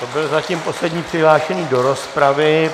To byl zatím poslední přihlášený do rozpravy.